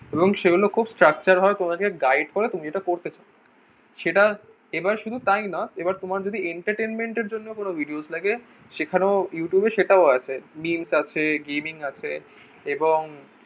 এবং সেগুলো খুব structure ভাবে guide করে তুমি যেটা করতে চাও সেটা এবার শুধু তাই নয় এবার তোমার যদি entertainment এর জন্য কোনো videos লাগে সেখানে ও Youtube এ সেটা ও আছে memes আছে gaming আছে এবং